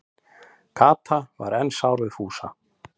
Kata var enn sár við Fúsa.